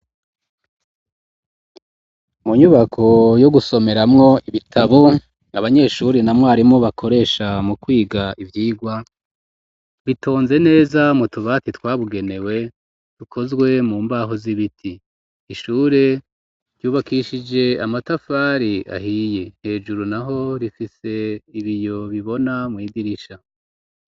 Mu nyubako yo gusomeramwo ibitabo n'abanyeshuri na mwarimu bakoresha mu kwiga ivyigwa bitonze neza mu tubati twabugenewe dukozwe mu mbaho z'ibiti ishure ryubakishije amatafari ahiye hejuru naho rifise ibiyo bibona mw'idirisha.